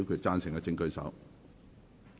贊成的請舉手。